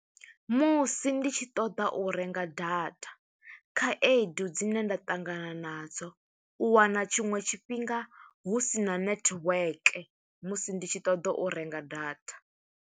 Musi ndi tshi ṱoḓa u renga data, khaedu dzine nda ṱangana nadzo, u wana tshiṅwe tshifhinga hu sina network. Musi ndi tshi ṱoḓa u renga data.